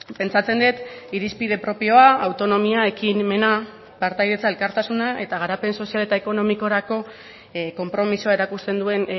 pentsatzen dut irizpide propioa autonomia ekimena partaidetza elkartasuna eta garapen sozial eta ekonomikorako konpromisoa erakusten duen